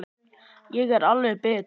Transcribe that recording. Ég er alveg bit!